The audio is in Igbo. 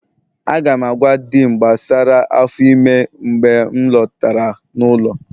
Aga m agwa Di'm gbasara afọ ime mgbe m lọtara n'ụlọ